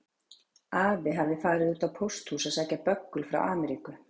Afi hafði farið út á pósthús að sækja böggul frá Ameríku.